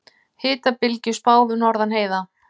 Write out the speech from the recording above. Hitabylgju spáð norðan heiða